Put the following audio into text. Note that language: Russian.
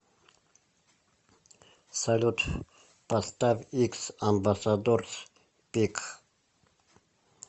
салют поставь икс амбасадорс биг